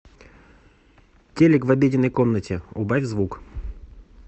телек в обеденной комнате убавь звук